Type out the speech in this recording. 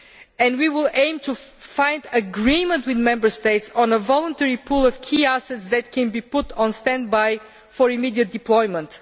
And we will aim to find agreement with Member States on a voluntary pool of key assets that can be put on stand by for immediate deployment.